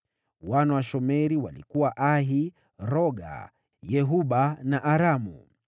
Wana wa Shemeri walikuwa: Ahi, Roga, Yehuba na Aramu.